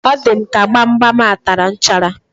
O di m ka gbamgbam a tara nchara